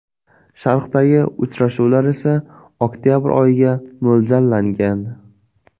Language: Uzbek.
Sharqdagi uchrashuvlar esa oktabr oyiga mo‘ljallangan.